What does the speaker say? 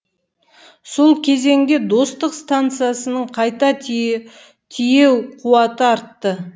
сол кезеңде достық стансасының қайта тиеу қуаты артты